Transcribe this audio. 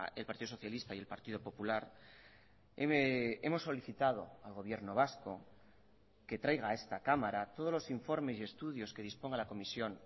el partido socialista y el partido popular hemos solicitado al gobierno vasco que traiga a esta cámara todos los informes y estudios que disponga la comisión